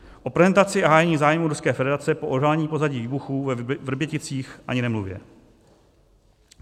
O prezentaci a hájení zájmu Ruské federace po odhalení pozadí výbuchů ve Vrběticích ani nemluvě.